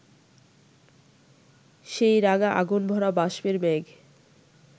সেই রাঙা আগুনভরা বাষ্পের মেঘ